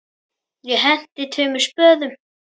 Ég henti tveimur spöðum.